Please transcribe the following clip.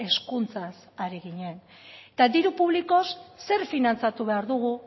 hezkuntzaz ari ginen eta diru publikoaz zer finantzatu behar dugu